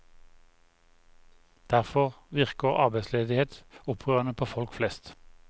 Derfor virker arbeidsledighet opprørende på folk flest.